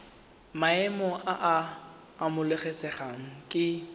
maemo a a amogelesegang ke